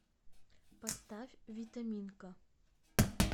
поставь витаминка